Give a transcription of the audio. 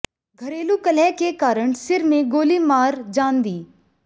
घरेलू कलह के कारण सिर में गोली मार जान दी